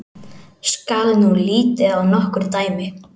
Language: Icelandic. Skal nú litið á nokkur dæmi.